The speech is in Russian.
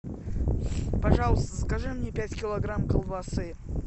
пожалуйста закажи мне пять килограмм колбасы